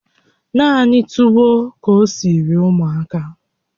Naanị tuwo ka o siri ụmụaka